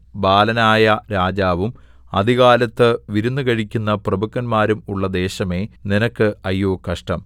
ബാലനായ രാജാവും അതികാലത്ത് വിരുന്നു കഴിക്കുന്ന പ്രഭുക്കന്മാരും ഉള്ള ദേശമേ നിനക്ക് അയ്യോ കഷ്ടം